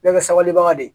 Bɛɛ bɛ sabalibaga de ye